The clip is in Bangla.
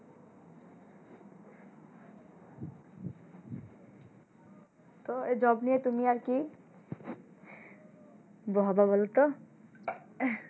তো এই job নিয়ে তুমি আর কি হবা বলোতো?